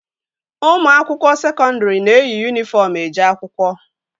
Ụmụ akwụkwọ sekọndri na-eyi yunifọm eje akwụkwọ